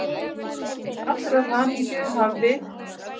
Til allrar hamingju hafði